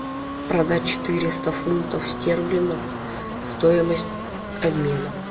продать четыреста фунтов стерлингов стоимость обмена